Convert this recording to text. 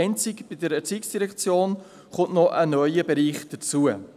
Einzig bei der ERZ kommt ein neuer Bereich hinzu.